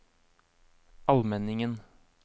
Almenningen